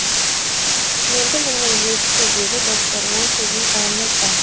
енді міне жетті деп доктор ол сіздің ұлыңыз ба